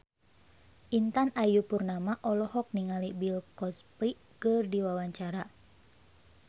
Intan Ayu Purnama olohok ningali Bill Cosby keur diwawancara